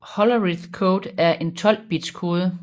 Hollerith code er en 12 bits kode